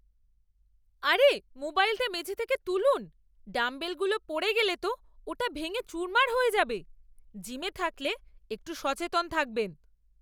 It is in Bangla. আরে, মোবাইলটা মেঝে থেকে তুলুন, ডাম্বেলগুলো পড়ে গেলে তো ওটা ভেঙে চুরমার হয়ে যাবে, জিমে থাকলে একটু সচেতন থাকবেন।